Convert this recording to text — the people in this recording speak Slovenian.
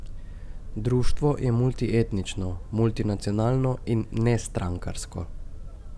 Društvo je multietnično, multinacionalno in nestrankarsko.